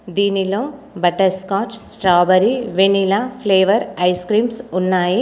దీనిలో butter scotch strawberry vanilla flavour ice creams ఉన్నాయి.